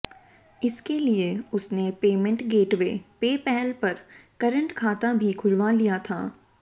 इसके लिए उसने पेमेंट गेटवे पेपाल पर करंट खाता भी खुलवा लिया था